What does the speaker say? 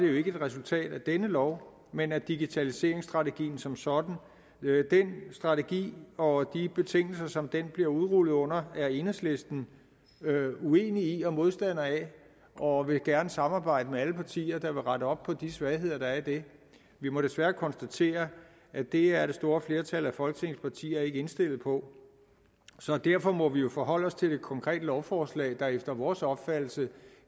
det ikke et resultat af denne lov men af digitaliseringsstrategien som sådan den strategi og de betingelser som den bliver udrullet under er enhedslisten uenig i og modstander af og vil gerne samarbejde med alle partier der vil rette op på de svagheder der er i det vi må desværre konstatere at det er det store flertal af folketingets partier ikke indstillet på så derfor må vi jo forholde os til det konkrete lovforslag der efter vores opfattelse